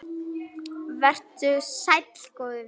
Vertu sæll, góði vinur.